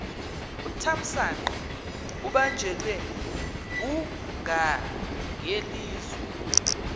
uthamsanqa ubanjelwe ngungangelizwe